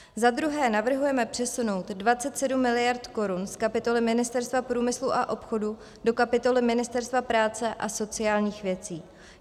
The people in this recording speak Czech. Za druhé navrhujeme přesunout 27 mld. korun z kapitoly Ministerstva průmyslu a obchodu do kapitoly Ministerstva práce a sociálních věcí.